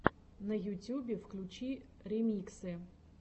на ютюбе включи ремиксы